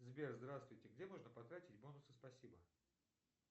сбер здравствуйте где можно потратить бонусы спасибо